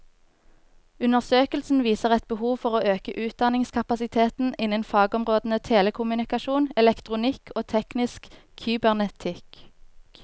Undersøkelsen viser et behov for å øke utdanningskapasiteten innen fagområdene telekommunikasjon, elektronikk og teknisk kybernetikk.